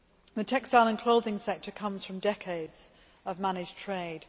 The textile and clothing sector comes from decades of managed trade.